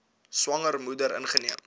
swanger moeder ingeneem